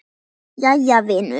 Jæja vinur.